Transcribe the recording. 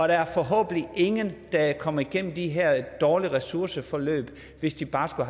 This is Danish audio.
der forhåbentlig er ingen der kommer igennem de her dårlige ressourceforløb hvis de bare skulle